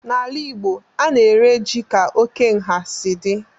N'ala igbo, a na-ere ji ka oke nha si dị